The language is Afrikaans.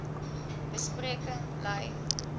be spreking lei